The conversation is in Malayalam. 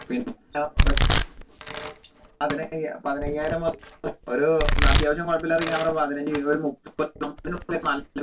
ഒരു അത്യാവശ്യം കുഴപ്പല്ലാത്ത camera ഒരു പതിനഞ്ചു